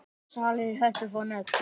Salir í Hörpu fá nöfn